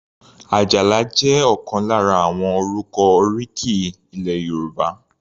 Ajala jẹ́ ọ̀kan lára àwọn orúkọ oríkì ilẹ̀ Yorùbá.